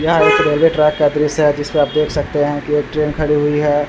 यह एक railway track का दृश्य है जिसपे आप देख सकते है कि एक ट्रैन खड़ी हुई है।